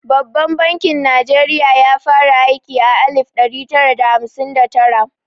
Babban bankin Najeriya ya fara aiki a alif ɗari tara da hamsin da tara.